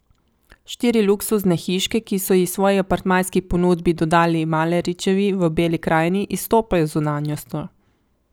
Štiri luksuzne hiške, ki so ji svoji apartmajski ponudbi dodali Maleričevi v Beli krajini, izstopajo z zunanjostjo.